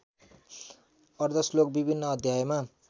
अर्द्धश्लोक विभिन्न अध्यायमा